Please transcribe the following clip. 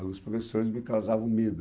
Alguns professores me causavam medo.